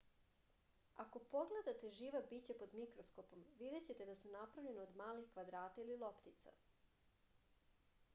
ako pogledate živa bića pod mikroskopom videćete da su napravljena od malih kvadrata ili loptica